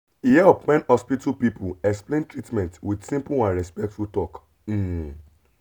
e help when hospital people explain treatment with simple and respectful talk. um